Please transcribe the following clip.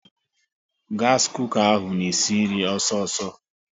Gas kooka ahụ na-esi nri ọsọ ọsọ